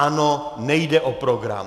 Ano, nejde o program.